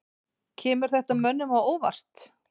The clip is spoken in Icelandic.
Kemur þetta mönnum á óvart?